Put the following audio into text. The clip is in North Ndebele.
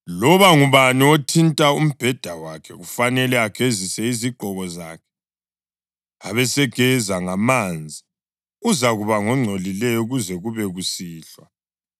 Loba ngubani othinta umbheda wakhe kufanele agezise izigqoko zakhe, abesegeza ngamanzi, uzakuba ngongcolileyo kuze kube kusihlwa.